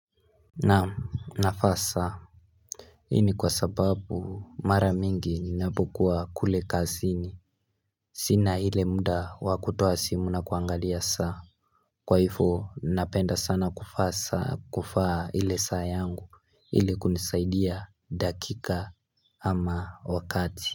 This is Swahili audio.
Naam navaa saa hIni kwa sababu mara mingi ninapokua kule kazini Sina ile muda wakutoa si mu na kuangalia saa Kwa hivo napenda sana kuvaa saa kuvaa ile saa yangu ili kunisaidia dakika ama wakati.